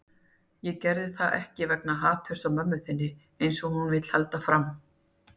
Ég geri það ekki vegna haturs á mömmu þinni, eins og hún vill halda fram.